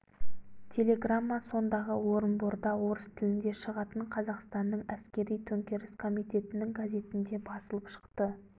телеграмма сондағы орынборда орыс тілінде шығатын қазақстанның әскери-төңкеріс комитетінің газетінде басылып шықты